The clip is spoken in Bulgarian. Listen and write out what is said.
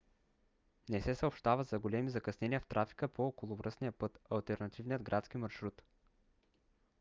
не се съобщава за големи закъснения в трафика по околовръстния път - алтернативният градски маршрут